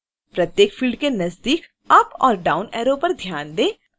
प्रत्येक फिल्ड के नजदीक अप और डाउन ऐरो पर ध्यान दें